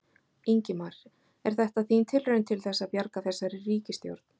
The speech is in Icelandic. Ingimar: Er þetta þín tilraun til þess að bjarga þessari ríkisstjórn?